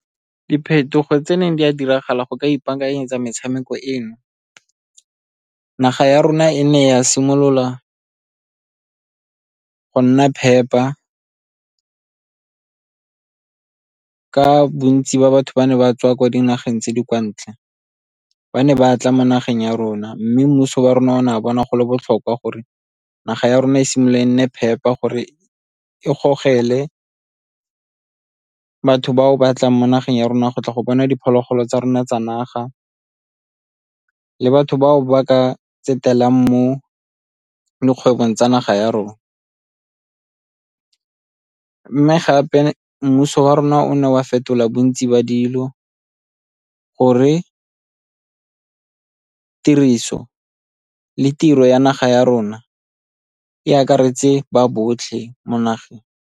Diphetogo tse neng di a diragala go ka ipaakanyetsa metshameko eno, naga ya rona e ne ya simolola go nna phepa ka bontsi ba batho ba ne ba tswa kwa dinageng tse di kwa ntle. Ba ne ba tla mo nageng ya rona mme mmuso wa rona o ne wa bona go le botlhokwa gore naga ya rona e simolole e nne phepa gore e gogelwe batho bao ba tlang mo nageng ya rona go tla go bona diphologolo tsa rona tsa naga le batho bao ba ka mo dikgwebong tsa naga ya rona. Mme gape mmuso wa rona o ne wa fetola bontsi ba dilo gore tiriso le tiro ya naga ya rona e akaretse ba botlhe mo nageng.